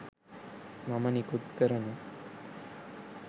මම නිකුත් කරන